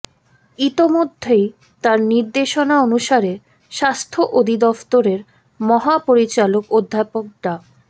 ইতোমধ্যেই তার নির্দেশনা অনুসারে স্বাস্থ্য অধিদফতরের মহাপরিচালক অধ্যাপক ডা